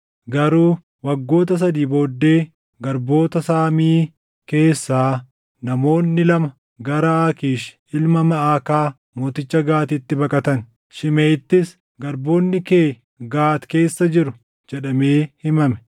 Garuu waggoota sadii booddee garboota Saamii keessaa namoonni lama gara Aakiish ilma Maʼakaa mooticha Gaatitti baqatan; Shimeʼiittis, “Garboonni kee Gaati keessa jiru” jedhamee himame.